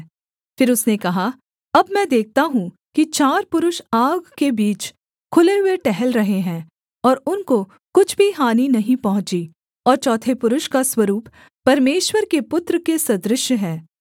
फिर उसने कहा अब मैं देखता हूँ कि चार पुरुष आग के बीच खुले हुए टहल रहे हैं और उनको कुछ भी हानि नहीं पहुँची और चौथे पुरुष का स्वरूप परमेश्वर के पुत्र के सदृश्य है